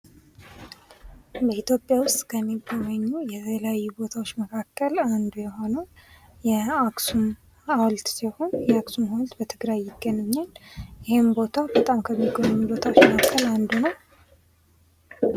ኢትዮጵያ ውስጥ ከሚጎበኙ የተለያዩ ቦታዎች መካከል አንዱ የሆነው የአክሱም ሀውልት ሲሆን የአክሱም ሀውልት በትግራይ ይገኛል ይሄም ቦታ በጣም ከሚጎበኙ ቦታዎች መካከል አንዱ ነው።